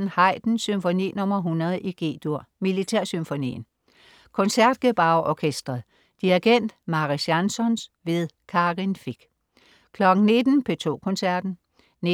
14.00 Haydn: Symfoni nr. 100, G-dur, Militærsymfonien. Concertgebouw Orkestret. Dirigent: Mariss Jansons. Karin Fich 19.00 P2 Koncerten. 19.30